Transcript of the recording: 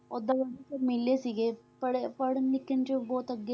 ਓਦਾਂ ਸ਼ਰਮੀਲੇ ਸੀਗੇ, ਪੜ੍ਹ~ ਪੜ੍ਹਣ ਲਿਖਣ 'ਚ ਬਹੁਤ ਅੱਗੇ